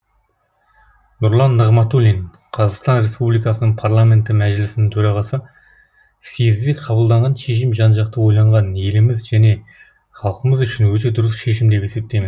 нұрлан нығматулин қазақстан республикасының парламенті мәжілісінің төрағасы съезде қабылданған шешім жан жақты ойланған еліміз және халқымыз үшін өте дұрыс шешім деп есептеймін